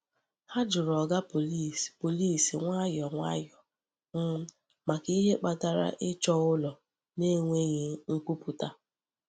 Ha jụrụ Oga Pọlịs Pọlịs nwayọọ nwayọọ um maka ihe kpatara ịchọ ụlọ n’enweghị nkwupụta.